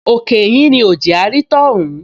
Òkè ìhín ni ò jẹ́ á rí tọ́hún